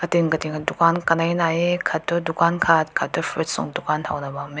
rim katin dukhan kanai nahei aakat tu dukhan aakat tu fruits tünk dukhan hao na bam meh.